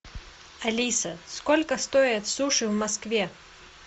алиса сколько стоят суши в москве